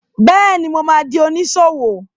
Bẹ́ẹ̀ni, mo ma di oníṣòwò